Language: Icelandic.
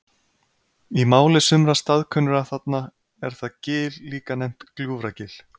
Í máli sumra staðkunnugra þarna er það gil líka nefnt Gljúfragil.